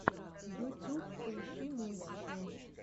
ютюб поищи мультики